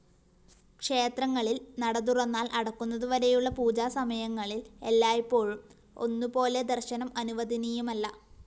ക്ഷേത്രങ്ങളില്‍ നടതുറന്നാല്‍ അടക്കുന്നതുവരെയുള്ള പൂജാസമയങ്ങളില്‍ എല്ലായ്‌പ്പോഴും ഒന്നുപോലെ ദര്‍ശനം അനുവദനീയമല്ലാ